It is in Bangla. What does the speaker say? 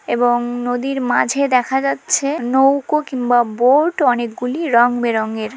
এবংম নদীর মাঝে দেখা যাচ্ছে নৌকো কিংবা বোর্ড অনেকগুলি রংবেরঙের।